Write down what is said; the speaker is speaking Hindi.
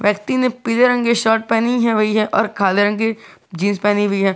व्यक्ति ने पीले रंग की शर्ट पहनी हुई है और काले रंग की जींस पहनी हुई है।